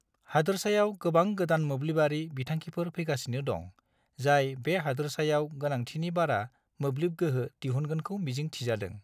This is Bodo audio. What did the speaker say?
हादोरसायाव गोबां गोदान मोब्लिबारि बिथांखिफोर फैगासिनो दं, जाय बे हादोरसायाव गोनांथिनि बारा मोब्लिब गोहो दिहुनगोनखौ मिजिं थिजादों।